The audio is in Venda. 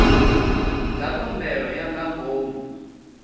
dza khumbelo ya nga ngomu